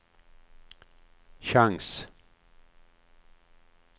chans